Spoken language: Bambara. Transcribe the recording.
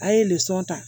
A ye ta